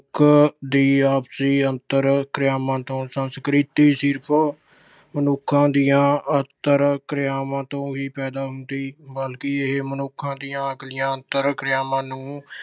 ਮਨੁੱਖ ਦੀ ਆਪਸੀ ਅੰਤਰ ਕਿਰਿਆਵਾਂ ਤੋਂ। ਸੰਸਕ੍ਰਿਤੀ ਸਿਰਫ ਮਨੁੱਖਾਂ ਦੀਆਂ ਅੰਤਰ ਕਿਰਿਆਵਾਂ ਤੋਂ ਵੀ ਪੈਦਾ ਹੁੰਦੀ ਹੈ। ਇਹ ਮਨੁੱਖਾਂ ਦੀਆਂ ਆਖਰੀ ਅੰਤਰ ਕਿਰਿਆਵਾਂ ਨੂੰ